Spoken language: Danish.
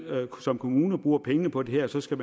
som kommune bruger pengene på det her så skal